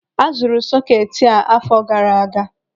Azụrụ sọketi a àfọ̀ gara aga.